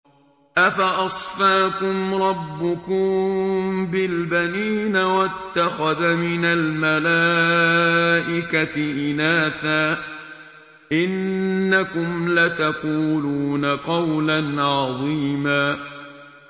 أَفَأَصْفَاكُمْ رَبُّكُم بِالْبَنِينَ وَاتَّخَذَ مِنَ الْمَلَائِكَةِ إِنَاثًا ۚ إِنَّكُمْ لَتَقُولُونَ قَوْلًا عَظِيمًا